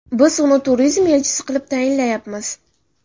Biz uni turizm elchisi qilib tayinlayapmiz.